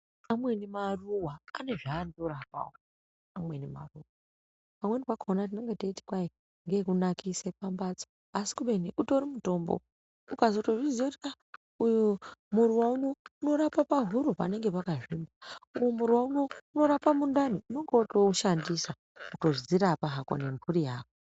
Amweni maruva ane zva ano rapawo amweni maruva pamweni pakona tinenge teiti kwai nge eku nakise pa mbatso asi kubeni utori mutombo ukatozo zviziya kuti aa uyu muruva unorapa pahuro panenge paka zvimba uyu muruva unorapa mundani unonga wato ushandisa kutodzi rapa hako ne mburi yako.